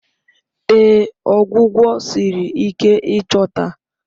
Ee, ọgwụgwọ siri ike ịchọta